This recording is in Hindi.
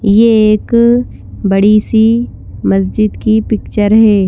ये एक अअबड़ी सी मस्जिद की पिक्चर है।